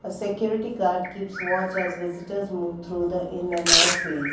the security gaurd keeps watch as visitors move through the in and out ways